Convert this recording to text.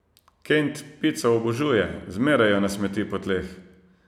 Kent pico obožuje, zmeraj jo nasmeti po tleh.